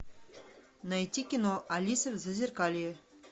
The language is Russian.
найти кино алиса в зазеркалье